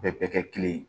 Bɛɛ bɛ kɛ kelen ye